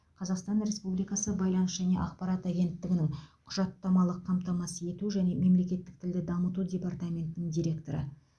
қазақстан республикасы байланыс және ақпарат агенттігінің құжаттамалық қамтамасыз ету және мемлекеттік тілді дамыту департаментінің директоры